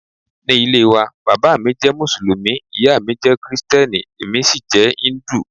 Ní ilé waa, bàbá mi jẹ́ Mùsùlùmí, ìyá mi jẹ́ Kristẹni, èmi sì jẹ́ íńdù.